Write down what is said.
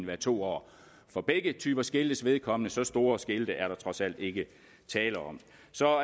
være to år for begge typer skiltes vedkommende for så store skilte er der trods alt ikke tale om så